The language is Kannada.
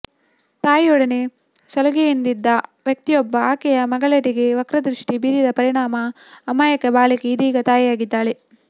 ತಾಯಿಯೊಡನೆ ಸಲುಗೆಯಿಂದಿದ್ದ ವ್ಯಕ್ತಿಯೊಬ್ಬ ಆಕೆಯ ಮಗಳೆಡೆಗೆ ವಕ್ರದೃಷ್ಟಿ ಬೀರಿದ ಪರಿಣಾಮ ಅಮಾಯಕ ಬಾಲಕಿ ಇದೀಗ ತಾಯಿಯಾಗಿದ್ದಾಳೆ